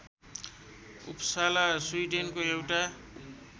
Uppsala स्विडेनको एउटा